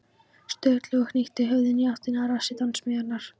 Sturlu og hnykkti höfðinu í áttina að rassi dansmeyjarinnar.